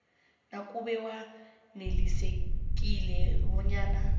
nakube wanelisekile bonyana